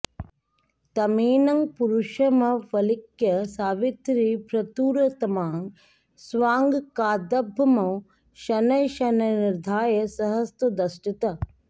तमेनं पुरुषमवलिक्य सावित्री भ्र्तुरुत्तमाङ्गं स्वाङ्काद्भूमौ शनैः शनैर्निधाय सहसोदतिष्ठत्